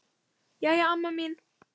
Jæja, amma mín.